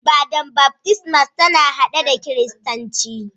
Ibada'n baftisma na hade da kiristanci.